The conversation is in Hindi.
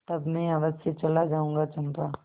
तब मैं अवश्य चला जाऊँगा चंपा